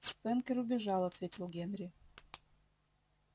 спэнкер убежал ответил генри